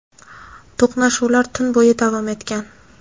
to‘qnashuvlar tun bo‘yi davom etgan.